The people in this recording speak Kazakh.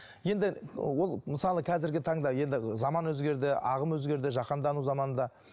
енді ол мысалы қазіргі таңда енді заман өзгерді ағым өзгерді жаһандану заманында